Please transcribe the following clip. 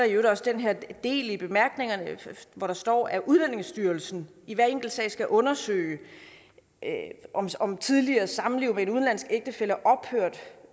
i øvrigt også den her del af bemærkningerne hvor der står at udlændingestyrelsen i hver enkelt sag skal undersøge om tidligere samliv med en udenlandsk ægtefælle